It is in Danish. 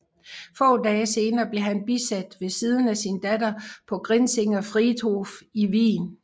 Få dage senere blev han bisat ved siden af sin datter på Grinzinger Friedhof i Wien